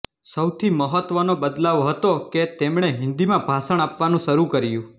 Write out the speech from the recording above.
સૌથી મહત્વનો બદલાવ હતો કે તેમણે હિંદીમાં ભાષણ આપવાનું શરૂ કર્યું